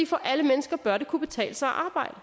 for alle mennesker bør det kunne betale sig at arbejde